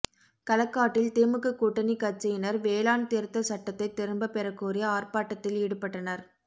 களக்காட்டில் திமுக கூட்டணி கட்சியினா் வேளாண் திருத்தச் சட்டத்தை திரும்பப் பெறக்கோரி ஆா்பாட்டத்தில் ஈடுபட்டனா்